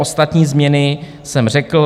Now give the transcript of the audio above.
Ostatní změny jsem řekl.